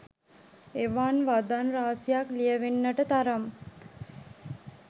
එවන් වදන් රාශියක් ලියැවෙන්නට තරම්